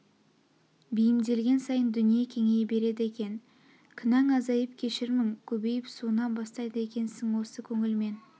беймдеген сайын дүние кеңейе береді екен кінәң азайып кешірмің көбейп суына бастайды екесің осы көңіл мен